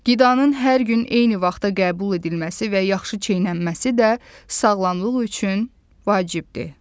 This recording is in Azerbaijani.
Qidanın hər gün eyni vaxtda qəbul edilməsi və yaxşı çeynənməsi də sağlamlıq üçün vacibdir.